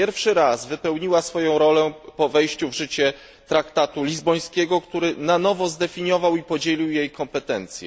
Pierwszy raz wypełniła swoją rolę po wejściu w życie traktatu lizbońskiego, który na nowo zdefiniował i podzielił jej kompetencje.